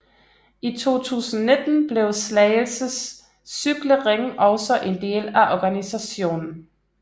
I 2019 blev Slagelse Cykle Ring også en del af organisationen